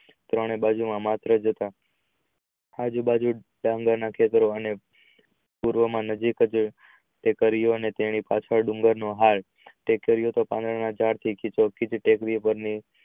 ત્રણે બાજુ માત્ર જતા આજુબાજુ ખેતરો અને પૂર્વ માં નદી ટાળે ખેતરો અને તેની પાછળ ડુંગર હાર અને ટેકરી ઓ તો ઝાડ થી